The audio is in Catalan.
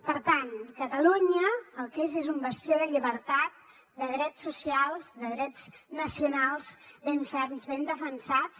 per tant catalunya el que és és un bastió de llibertat de drets socials de drets nacionals ben ferms ben defensats